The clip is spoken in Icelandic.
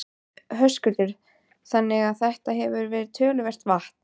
Höskuldur: Þannig að þetta hefur verið töluvert vatn?